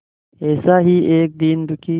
ऐसा ही एक दीन दुखी